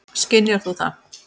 Skynjar þú það?